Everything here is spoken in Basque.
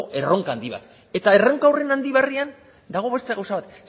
erronka handi bat eta erronka handi berrian dago beste gauza bat